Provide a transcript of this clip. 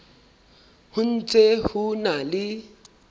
ho ntse ho na le